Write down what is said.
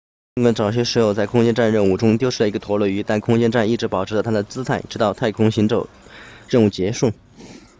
尽管早些时候在空间站任务中丢失了一个陀螺仪但空间站一直保持着它的姿态直到太空行走任务结束